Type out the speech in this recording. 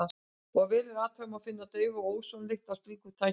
Ef vel er athugað, má finna daufa ósonlykt af slíkum tækjum.